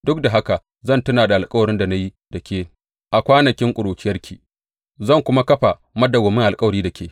Duk da haka zan tuna da alkawarin da na yi da ke a kwanakin ƙuruciyarki, zan kuma kafa madawwamin alkawari da ke.